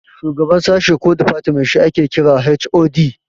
Shugaban sashe ko difatmen shi ake kira HOD